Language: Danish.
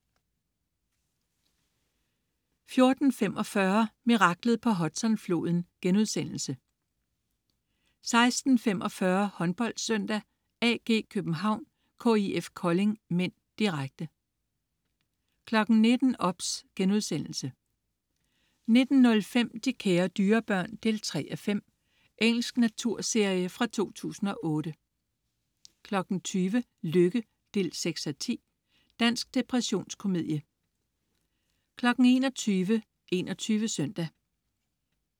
14.45 Miraklet på Hudson-floden* 16.45 HåndboldSøndag: AG København-KIF Kolding (m), direkte 19.00 OBS* 19.05 De kære dyrebørn 3:5. Engelsk naturserie fra 2008 20.00 Lykke 6:10. Dansk depressionskomedieserie 21.00 21 Søndag